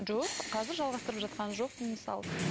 жоқ қазір жалғасытырып жатқан жоқпын мысалы